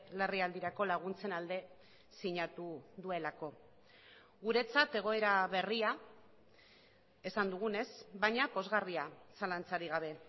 larrialdirako laguntzen alde sinatu duelako guretzat egoera berria esan dugunez baina pozgarria zalantzarik gabe